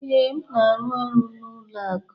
Ee, m na-arụ ọrụ n'ụlọ akụ.